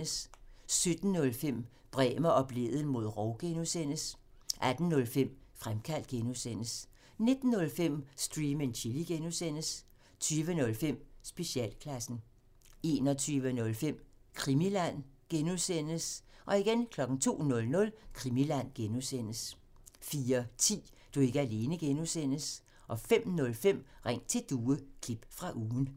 17:05: Bremer og Blædel mod rov (G) 18:05: Fremkaldt (G) 19:05: Stream and Chill (G) 20:05: Specialklassen 21:05: Krimiland (G) 02:00: Krimiland (G) 04:10: Du er ikke alene (G) 05:05: Ring til Due – klip fra ugen